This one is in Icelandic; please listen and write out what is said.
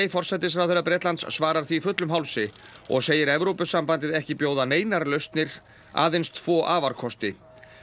forsætisráðherra Bretlands svarar því fullum hálsi og segir Evrópusambandið ekki bjóða neinar lausnir aðeins tvo afarkosti